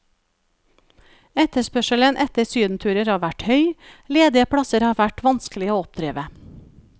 Etterspørselen etter sydenturer har vært høy, ledige plasser har vært vanskelige å oppdrive.